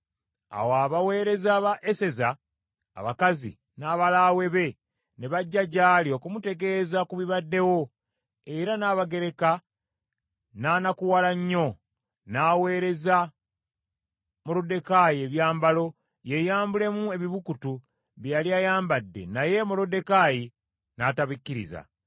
Awo abaweereza ba Eseza abakazi n’abalaawe be ne bajja gyali okumutegeeza ku bibadde wo, era Nnabagereka n’anakuwala nnyo: n’aweereza Moluddekaayi ebyambalo yeyambulemu ebibukutu bye yali ayambadde naye Moluddekaayi n’atabikkiriza.